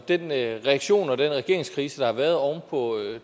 den reaktion og den regeringskrise der har været oven på